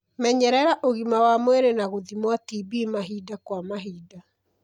Menyerera ũgima wa mwĩrĩ na gũthimwo TB mahinda kwa mahinda.